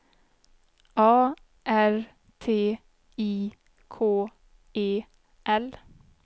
A R T I K E L